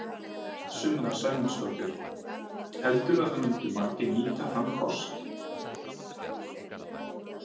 Sunna Sæmundsdóttir: Heldurðu að það myndu margir nýta þann kost?